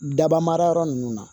Daba marayɔrɔ ninnu na